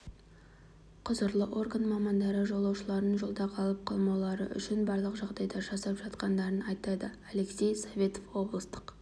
құзырлы орган мамандары жолаушылардың жолда қалып қоймаулары үшін барлық жағдайды жасап жатқандарын айтады алексей советов облыстық